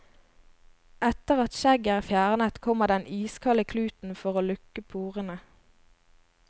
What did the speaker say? Etter at skjegget er fjernet, kommer den iskalde kluten for å lukke porene.